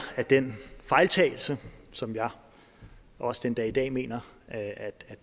af den fejltagelse som jeg også den dag i dag mener